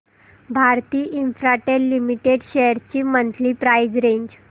Bharti Infratel limited shares ची monthly price range